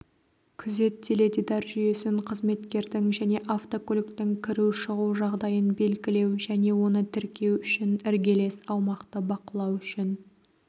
күзет теледидар жүйесін қызметкердің және автокөліктің кіру шығу жағдайын белгілеу және оны тіркеу үшін іргелес аумақты бақылау үшін